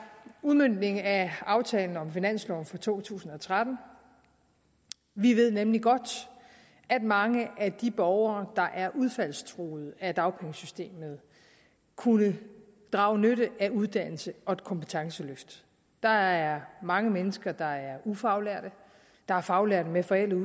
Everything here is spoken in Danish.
udmøntningen af aftalen om finansloven for to tusind og tretten vi ved nemlig godt at mange af de borgere der er udfaldstruede af dagpengesystemet kunne drage nytte af et uddannelses og kompetenceløft der er mange mennesker der er ufaglærte der er faglærte med forældede